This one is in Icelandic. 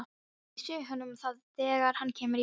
Ég segi honum það þegar hann kemur í bæinn.